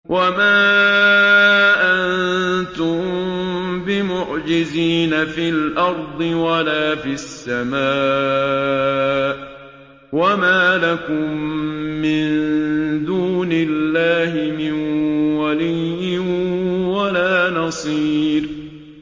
وَمَا أَنتُم بِمُعْجِزِينَ فِي الْأَرْضِ وَلَا فِي السَّمَاءِ ۖ وَمَا لَكُم مِّن دُونِ اللَّهِ مِن وَلِيٍّ وَلَا نَصِيرٍ